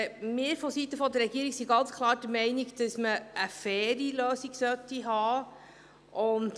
Wir sind seitens der Regierung ganz klar der Meinung, dass man eine faire Lösung haben sollte.